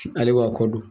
Ale b'a ko dɔn